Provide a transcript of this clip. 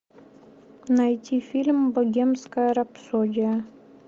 найти фильм богемская рапсодия